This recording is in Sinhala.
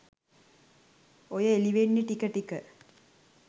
ඔය එළිවෙන්නේ ටික ටික